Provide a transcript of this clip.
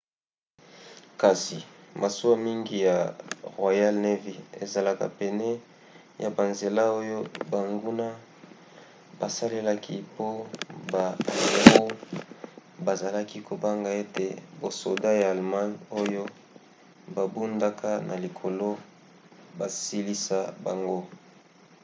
kasi masuwa mingi ya royal navy ezalaki pene ya banzela oyo banguna basalelaki po ba amiraux bazalaki kobanga ete basoda ya allemagne oyo babundaka na likolo basilisa bango